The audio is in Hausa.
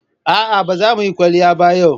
A'a ba za mu yi kwalliya ba yau.